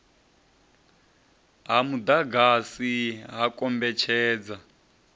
ha mudagasi ha u kombetshedza